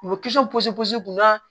U bɛ posi posi kunna